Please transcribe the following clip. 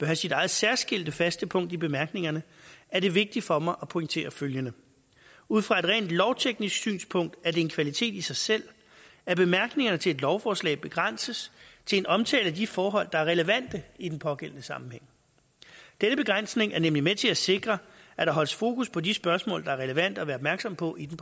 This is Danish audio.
have sit eget særskilte faste punkt i bemærkningerne er det vigtigt for mig at pointere følgende ud fra et rent lovteknisk synspunkt er det en kvalitet i sig selv at bemærkningerne til et lovforslag begrænses til en omtale af de forhold der er relevante i den pågældende sammenhæng denne begrænsning er nemlig med til at sikre at der holdes fokus på de spørgsmål der er relevante at være opmærksom på i det